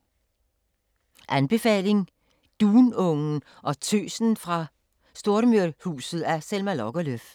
Anbefaling: Dunungen og Tøsen fra Stormyrhuset af Selma Lagerlöf